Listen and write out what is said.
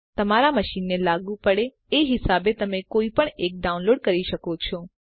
તમારા મશીનને લાગુ પડે એ હિસાબે તમે કોઈપણ એકને ડાઉનલોડ કરી શકો છો